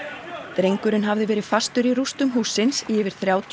drengurinn hafði verið fastur í rústum hússins í yfir þrjátíu